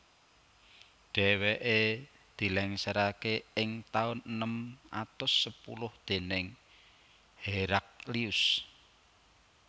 Dhèwèké dilèngsèraké ing taun enem atus sepuluh déning Heraklius